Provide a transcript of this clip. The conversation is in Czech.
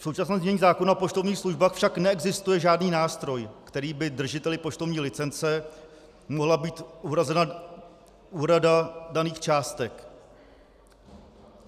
V současném znění zákona o poštovních službách však neexistuje žádný nástroj, kterým by držiteli poštovní licence mohla být uhrazena úhrada daných částek.